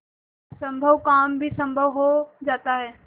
असम्भव काम भी संभव हो जाता है